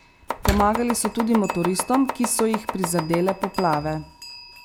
Pomagali so tudi motoristom, ki so jih prizadele poplave.